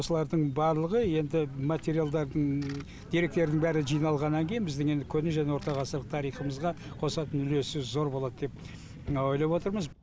осылардың барлығы енді материалдардың деректердің бәрі жиналғаннан кейін біздің енді көне және орта ғасырлық тарихымызға қосатын үлесі зор болады деп ойлап отырмыз